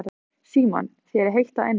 Símon: Þér er heitt að innan?